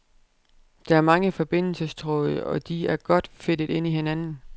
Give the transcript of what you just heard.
Der er mange forbindelsestråde, og de er godt fedtet ind i hinanden.